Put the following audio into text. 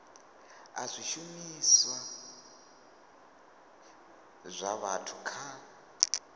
a zwishumiswa zwa vhathu kha